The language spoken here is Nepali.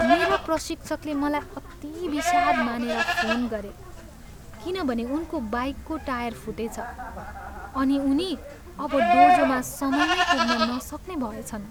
मेरा प्रशिक्षकले मलाई अति विषाद् मानेर फोन गरे किनभने उनको बाइकको टायर फुटेछ अनि उनी अब डोजोमा समयमै पुग्न नसक्ने भएछन्।